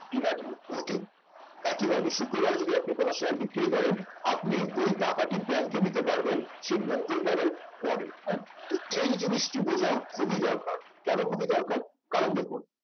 demat এ ঢোকে একেবারে একই ভাবে শুক্রবার আপনি যদি কোন share বিক্রি করেন আপনি ওই টাকাটি bank এ নিতে পারবেন সেই মঙ্গলবার এর পরে হ্যাঁ তো এই জিনিসটি বোঝা খুবই দরকার কেন খুবই দরকার কারণ দেখুন